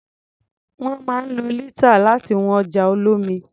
Wọ́n máa ń lo lítà láti wọn ọjà olómi.